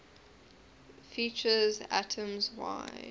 features atoms wide